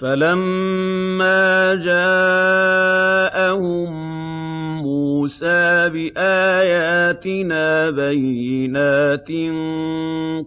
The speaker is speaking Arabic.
فَلَمَّا جَاءَهُم مُّوسَىٰ بِآيَاتِنَا بَيِّنَاتٍ